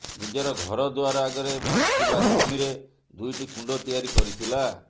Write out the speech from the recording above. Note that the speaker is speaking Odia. ନିଜର ଘର ଦୁଆର ଆଗରେ ଥିବା ଜମିରେ ଦୁଇଟି କୁଣ୍ଡ ତିଆରି କରିଥିଲା